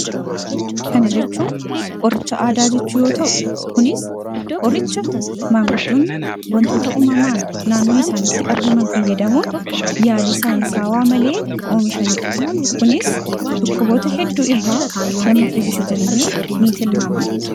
Kana jechuun qoricha aadaa jechuu yoo ta'u kunis qoricha maanguddoonni wantoota uumamaan naannoo isaanitti argaman fayyadamuun yaalii saayinsaawaa malee oomishanee dha kunis dhukkuboota hedduu irraa nama fayyisa jedhamee ni tilmaamama.